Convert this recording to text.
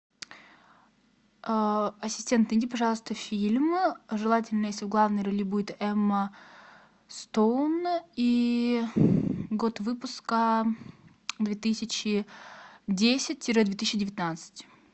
ассистент найди пожалуйста фильм желательно если в главной роли будет эмма стоун и год выпуска две тысячи десять тире две тысячи девятнадцать